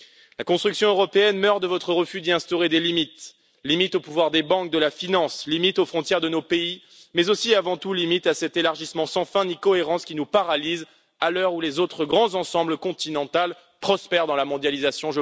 La construction européenne meurt de votre refus d'y instaurer des limites limites au pouvoir des banques et de la finance, limites aux frontières de nos pays, mais aussi, avant tout, limites à cet élargissement sans fin ni cohérence qui nous paralyse, à l'heure où les autres grands ensembles continentaux prospèrent dans la mondialisation.